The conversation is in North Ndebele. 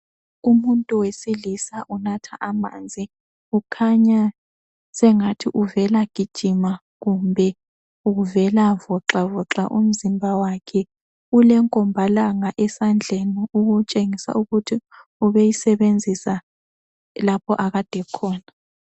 Umuntu wesilisa unatha amanzi ukhanya sengathi uvela gijima kumbe uvela voxavoxa umzimba wakhe, ulenkomba langa esandleni okutshengisa ukuthi ubeyisebenzisa lapho akade ekhona